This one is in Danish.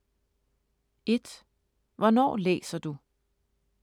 1) Hvornår læser du?